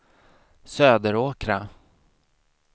Söderåkra